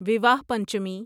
وواہ پنچمی